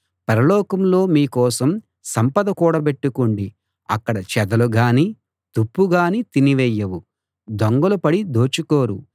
పరలోకంలో మీ కోసం సంపద కూడబెట్టుకోండి అక్కడ చెదలుగానీ తుప్పుగానీ తినివేయవు దొంగలు పడి దోచుకోరు